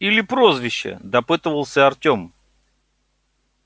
или прозвище допытывался артём